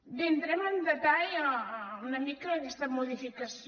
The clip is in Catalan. bé entrem en el detall una mica d’aquesta modificació